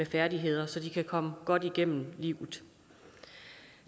færdigheder så de kan komme godt igennem livet